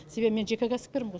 себебі мен жеке кәсіпкермін ғой